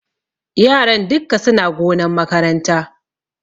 Yaran dukka suna gonan makaranta.